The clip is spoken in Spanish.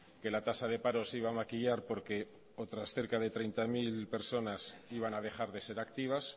que la tasa de paro se iba a maquillar porque otras cerca de treinta mil personas iban a dejar de ser activas